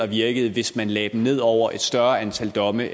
virke hvis man lagde dem ned over et større antal domme